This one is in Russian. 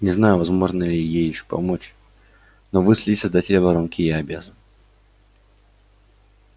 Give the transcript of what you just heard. не знаю возможно ли ей ещё помочь но выследить создателя воронки я обязан